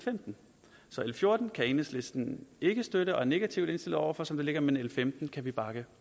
fjorten kan enhedslisten ikke støtte og er negativt indstillet over for som det ligger men l femten kan vi bakke